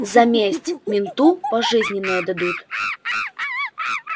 за месть менту пожизненное дадут